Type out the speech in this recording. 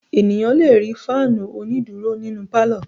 Ènìyàn le rí fáánù onídùúró nínu pálọ̀.